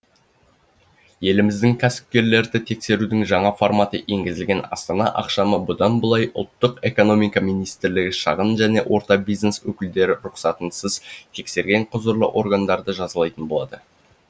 еліміздің кәсіпкерлерді тексерудің жаңа форматы енгізілді астана ақшамы бұдан былай ұлттық экономика министрлігі шағын және орта бизнес өкілдері рұқсатсыз тексерген құзырлы органдарды жазалайтын болады